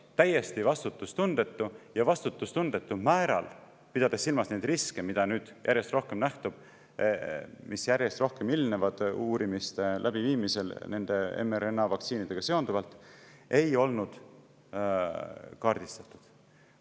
Täiesti vastutustundetu, ja vastutustundetu määral, pidades silmas neid riske, mis nüüd järjest rohkem nähtuvad, järjest rohkem ilmnevad mRNA-vaktsiinide uurimiste läbiviimisel ja mida ei olnud kaardistatud.